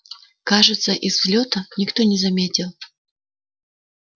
кажется из взлёта никто не заметил